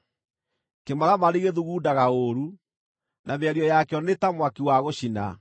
Kĩmaramari gĩthugundaga ũũru, na mĩario yakĩo nĩ ta mwaki wa gũcina.